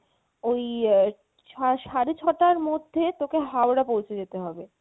ওই ইয়ে সারে সারে ছটার মধ্যে তোকে হাওড়া পৌঁছে যেতে হবে